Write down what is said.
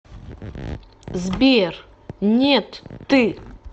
сбер нет ты